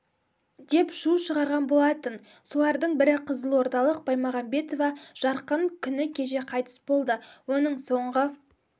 деп шу шығарған болатын солардың бірі қызылордалық баймағамбетова жарқын күні кеше қайтыс болды оның соңғы